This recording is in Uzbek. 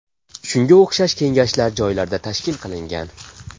Shunga o‘xshash kengashlar joylarda tashkil qilingan.